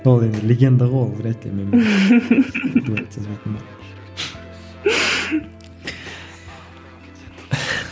ол енді легенда ғой ол врядь ли менімен дуэт